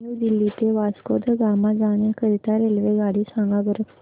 new Delhi ते वास्को द गामा जाण्या करीता रेल्वेगाडी सांगा बरं